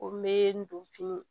Ko n be n don fini